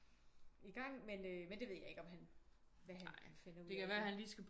I gang men øh men det ved jeg ikke om han hvad han finder ud af